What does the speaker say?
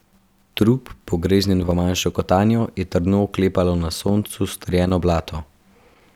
Trup, pogreznjen v manjšo kotanjo, je trdno oklepalo na soncu strjeno blato.